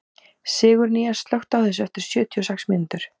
Sigurnýjas, slökktu á þessu eftir sjötíu og sex mínútur.